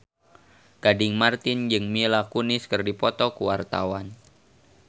Gading Marten jeung Mila Kunis keur dipoto ku wartawan